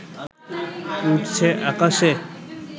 উড়ছে আকাশে